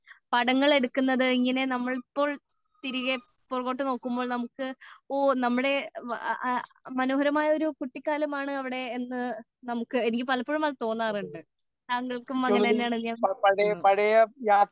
പടങ്ങൾ എടുക്കുന്നത് നമ്മൾ ഇപ്പോൾ തിരികെ പുറകോട്ട് നോക്കുമ്പോൾ നമുക്ക് ഓ നമ്മുടെ മനോഹരമായ ഒരു കുട്ടികാലമാണ് അവിടെ എന്ന് നമുക്ക് എനിക്ക് പലപ്പോഴും അത് തോന്നാറുണ്ട് തങ്ങൾക്കും അങ്ങനെ തന്നെയാണ് എന്ന് വിചാരിക്കുന്നു